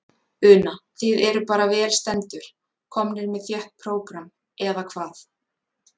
Una: Þið eruð bara vel stendur, komnir með þétt prógram, eða hvað?